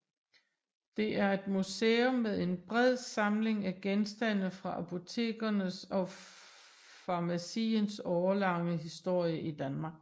Det er et museum med en bred samling af genstande fra apotekernes og farmaciens årelange historie i Danmark